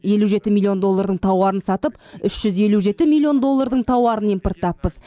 елу жеті миллион доллардың тауарын сатып үш жүз елу жеті миллион доллардың тауарын импорттаппыз